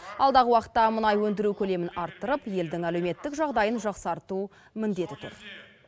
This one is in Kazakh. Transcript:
алдағы уақытта мұнай өндіру көлемін арттырып елдің әлеуметтік жағдайын жақсарту міндеті тұр